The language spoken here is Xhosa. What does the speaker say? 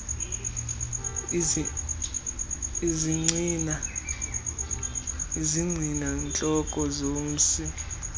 izigcina ntloko zomsi